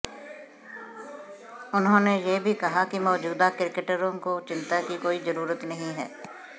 उन्होंने यह भी कहा कि मौजूदा क्रिकेटरों को चिंता की कोई जरूरत नहीं है